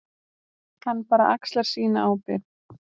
Hann bara axlar sína ábyrgð.